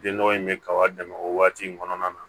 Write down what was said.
Den nɔgɔ in bɛ kaba dɛmɛ o waati in kɔnɔna na